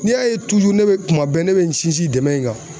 N'i y'a ye ne bɛ kuma bɛɛ ne bɛ n sinsin dɛmɛ in kan